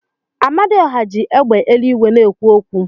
Amadioha ji égbè eluigwe na-ekwu okwu.